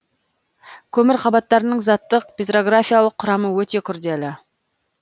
көмір қабаттарының заттық петрографиялық құрамы өте күрделі